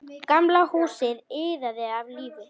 Gamla húsið iðaði af lífi.